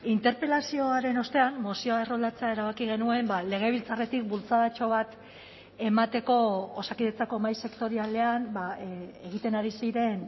interpelazioaren ostean mozioa erroldatzea erabaki genuen legebiltzarretik bultzadatxo bat emateko osakidetzako mahai sektorialean egiten ari ziren